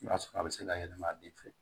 I b'a sɔrɔ a bɛ se ka yɛlɛma a bɛɛ fɛ